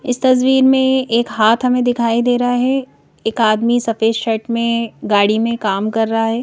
इस तस्वीर में एक हाथ हमें दिखाई दे रहा है एक आदमी सफेद शर्ट में गाड़ी में काम कर रहा है।